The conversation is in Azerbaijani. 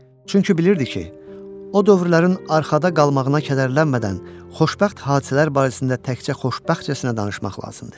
Çünki bilirdi ki, o dövrlərin arxada qalmağına kədərlənmədən xoşbəxt hadisələr barəsində təkcə xoşbəxtcəsinə danışmaq lazımdır.